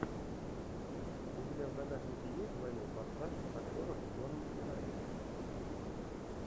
у тебя в загашнике есть двойной форсаж с актером джоном си райли